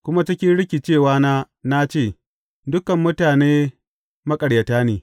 Kuma cikin rikicewana na ce, Dukan mutane maƙaryata ne.